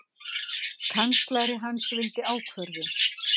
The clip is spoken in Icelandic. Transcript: Kanslari hans vildi ákvörðun.